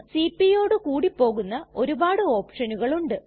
cpയോടു കൂടി പോകുന്ന ഒരുപാട് ഓപ്ഷനുകൾ ഉണ്ട്